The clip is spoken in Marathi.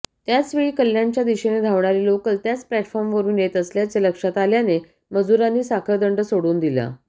त्याचवेळी कल्याणच्या दिशेने धावणारी लोकल त्याच प्लॅटफॉर्मवरून येत असल्याचे लक्षात आल्याने मजुरांनी साखळदंड सोडून दिला